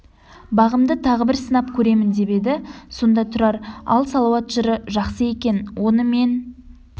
бағымды тағы бір сынап көремін деп еді сонда тұрар ал салауат жыры жақсы екен оны мен